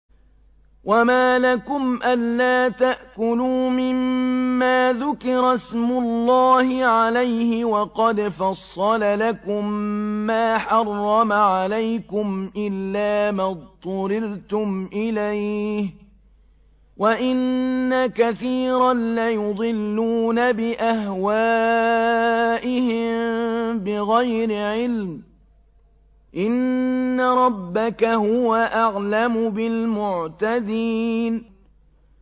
وَمَا لَكُمْ أَلَّا تَأْكُلُوا مِمَّا ذُكِرَ اسْمُ اللَّهِ عَلَيْهِ وَقَدْ فَصَّلَ لَكُم مَّا حَرَّمَ عَلَيْكُمْ إِلَّا مَا اضْطُرِرْتُمْ إِلَيْهِ ۗ وَإِنَّ كَثِيرًا لَّيُضِلُّونَ بِأَهْوَائِهِم بِغَيْرِ عِلْمٍ ۗ إِنَّ رَبَّكَ هُوَ أَعْلَمُ بِالْمُعْتَدِينَ